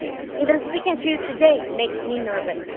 Even speaking to you today makes me nervous.